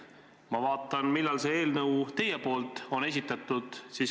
Ma vaatan, millal see eelnõu teil on esitatud.